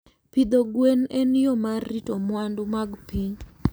Pidho gwen en yo mar rito mwandu mag piny.